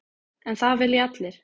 En það vilja allir.